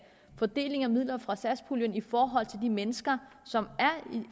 fordeling af midler fra satspuljen i forhold til de mennesker som er i